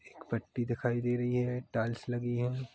एक पट्टी दिखाई दे रही है टाइल्स लगी है।